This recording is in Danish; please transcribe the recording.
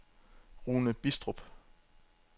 Rune Bidstrup